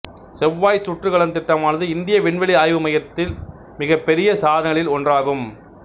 செவ்வாய் சுற்றுகலன் திட்டமானது இந்திய விண்வெளி ஆய்வு மையத்தி மிகப்பெரிய சாதனைகளில் ஒன்றாகும்